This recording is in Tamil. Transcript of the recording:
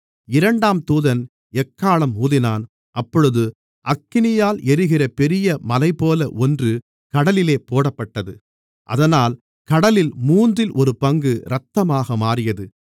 இரண்டாம் தூதன் எக்காளம் ஊதினான் அப்பொழுது அக்கினியால் எரிகிற பெரிய மலைபோல ஒன்று கடலிலே போடப்பட்டது அதனால் கடலில் மூன்றில் ஒரு பங்கு இரத்தமாக மாறியது